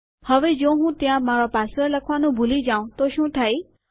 હવે જો હું ત્યાં મારો પાસવર્ડ લખવાનું ભૂલી જાઉં તો શું થાય